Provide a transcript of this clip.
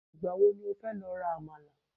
igbawo ni o fe lo ra àmàlà